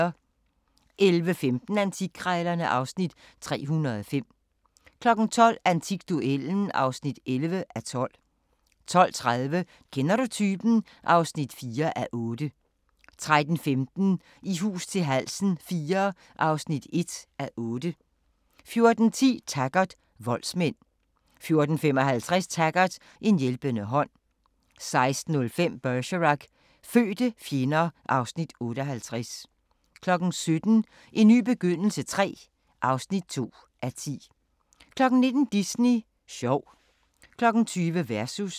11:15: Antikkrejlerne (Afs. 305) 12:00: Antikduellen (11:12) 12:30: Kender du typen? (4:8) 13:15: I hus til halsen IV (1:8) 14:10: Taggart: Voldsmænd 14:55: Taggart: En hjælpende hånd 16:05: Bergerac: Fødte fjender (Afs. 58) 17:00: En ny begyndelse III (2:10) 19:00: Disney sjov 20:00: Versus